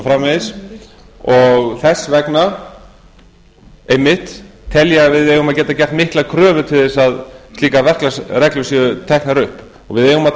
framvegis þess vegna einmitt tel ég að við eigum að geta gert miklar kröfur til að slíkar verklagsreglur séu teknar upp við eigum að